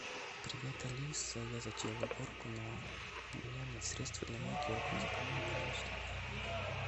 привет алиса я затеял уборку но у меня нет средства для мойки окон закажи мне пожалуйста его